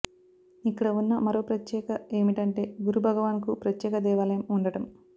ఇక్కడ ఉన్న మరో ప్రత్యేక ఏమిటంటే గురు భగవాన్ కు ప్రత్యేక దేవాలయం ఉండటం